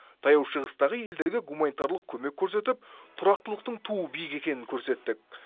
таяу шығыстағы елдерге гуманитарлық көмек көрсетіп тұрақтылықтың туы биік екенін көрсеттік